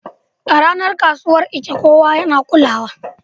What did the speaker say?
A ranar kasuwar Eke, kowa yana kulawa.